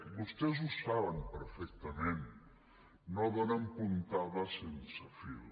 vostès ho saben perfectament no donen puntada sense fil